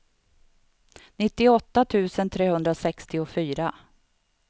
nittioåtta tusen trehundrasextiofyra